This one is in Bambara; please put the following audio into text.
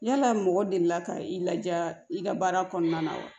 Yala mɔgɔ delila ka i laja i ka baara kɔnɔna na wa